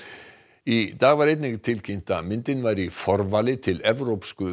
í dag var einnig tilkynnt að myndin væri í forvali til Evrópsku